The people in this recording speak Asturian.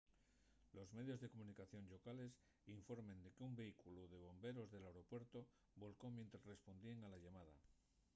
los medios de comunicación llocales informen de qu’un vehículu de bomberos del aeropuertu volcó mientres respondía a la llamada